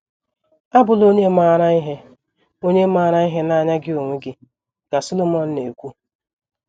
“ Abụla onye maara ihe onye maara ihe n’anya gị onwe gị, ” ka Solomọn na - ekwu.